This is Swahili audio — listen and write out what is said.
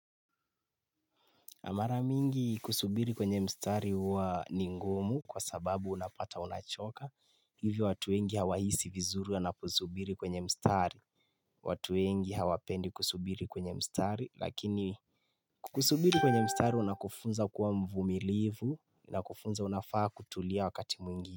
Mara mingi kusubiri kwenye mstari huwa ni ngumu kwa sababu unapata unachoka, hivi watu wengi hawahisi vizuri wanaposubiri kwenye mstari watu wengi hawapendi kusubiri kwenye mstari lakini kukusubiri kwenye mstari unakufunza kuwa mvumilivu na kufunza unafaa kutulia wakati mwingine.